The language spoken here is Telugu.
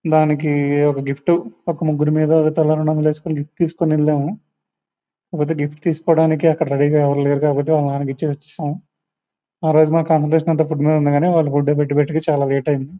దానికి ఒక గిఫ్ట్ ఒక ముగ్గురు మీద తలో రెండు వందలు వెస్కొని గిఫ్ట్ తీసుకుని వెళ్ళాము కాకపోతే గిఫ్ట్ తీసుకోడానికి అక్కడ రెడీ గ ఎవరు లేరు కాబ్బట్టి వాలా నాన్న కి ఇచ్చేసి ఒచ్చేసాం ఆ రోజు మా కాన్సూన్ట్రేషన్ అంత ఫుడ్ మీద ఉంది కానీ వాలు ఫుడ్ పెట్టేటప్పటికీ చాల లేట్ అయ్యింది.